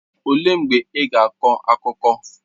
Olee mgbe ị ga-akọ akụkọ?